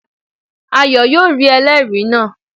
Ayo yóò rí ẹlẹ́ẹ̀rí náà